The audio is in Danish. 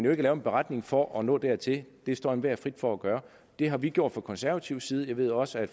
at lave en beretning for at nå dertil det står enhver frit for at gøre det har vi gjort fra konservativ side jeg ved også at